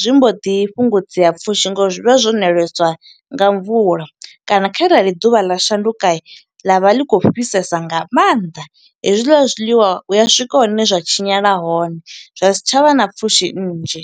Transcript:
zwi mbo ḓi fhungudzea pfushi ngo uri zwi vha zwo ṋeleswa nga mvula. Kana kharali ḓuvha ḽa shanduka, ḽa vha ḽi khou fhisesa nga maanḓa, hezwiḽa zwiḽiwa hu ya swika hune zwa tshinyala hone. Zwa si tsha vha na pfushi nnzhi.